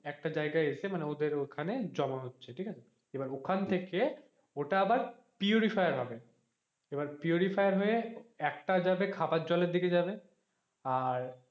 একটা জায়গায় এসে মানে ওদের ওখানে এসে জমা হচ্ছে ঠিক আছে এবার ওখান থেকে ওটা আবার purifier হবে এবার purifier হয়ে একটা যাবে খাবার জলের দিকে যাবে,